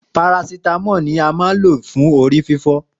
Parasítámọ ni a ma ńlo fún orí fífọ́